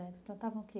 Eles plantavam o que?